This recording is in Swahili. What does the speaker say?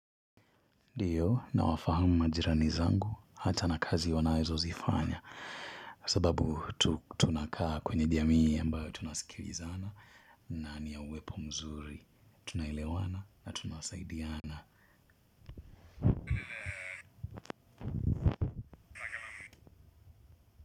Dio na wafahamu majirani zangu hata na kazi wanaezo zifanya. Sababu tunakaa kwenye jamii ambao tunasikilizana na niya uwepo mzuri. Tunahilewana na tunasaidiana.